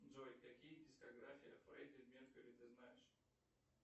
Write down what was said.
джой какие дискография фредди меркьюри ты знаешь